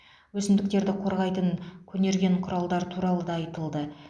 өсімдіктерді қорғайтын көнерген құралдар туралы да айтылды